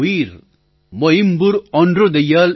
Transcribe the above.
उयिर् मोइम्बुर ओंद्दुडैयाळ એનિલમાઇપુરામોન્દ્રુદયાલ